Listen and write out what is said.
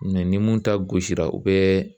ni mun ta gosi la u bɛ